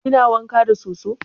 Kina wanka da soso?